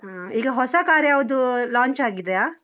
ಹಾ ಈಗ ಹೊಸ car ಯಾವ್ದು, launch ಆಗಿದ್ಯಾ?